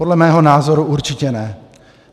Podle mého názoru určitě ne.